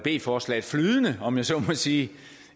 forslaget flydende om jeg så må sige